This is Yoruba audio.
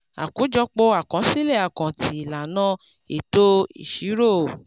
àkójọpọ́ akosile àkáǹtì ìlànà eto ìṣirò.